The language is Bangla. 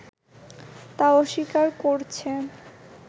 তা অস্বীকার করছে